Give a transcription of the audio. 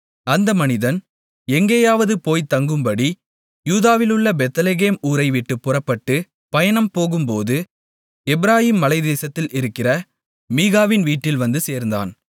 அந்த மனிதன் எங்கேயாவது போய்த் தங்கும்படி யூதாவிலுள்ள பெத்லெகேம் ஊரைவிட்டுப் புறப்பட்டுப் பயணம்போகும்போது எப்பிராயீம் மலைத்தேசத்தில் இருக்கிற மீகாவின் வீட்டில் வந்து சேர்ந்தான்